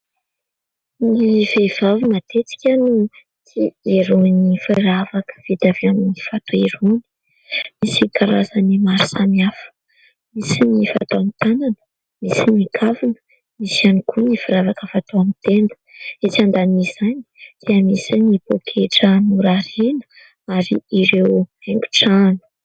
Ny vehivavy matetika no tia mijery ny firavaka vita avy amin'ny vato erony. Misy karazany maro samihafa. Misy ny fatao amin'ny tanana nisy ny kavina. Misy ihany koa ny firavaka fatao amin'ny tenda. Etsy ambanin'izany dia misy ny poketra mora ireny ary ireo aingo-trano.